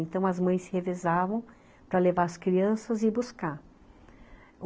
Então as mães se revezavam para levar as crianças e ir buscar.